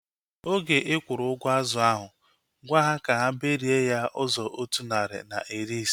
Oge ikwuru ụgwọ azụ ahu, gwaa ha ka ha berie ya ụzọ otu narị na iri ise